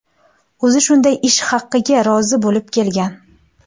O‘zi shunday ish haqiga rozi bo‘lib kelgan.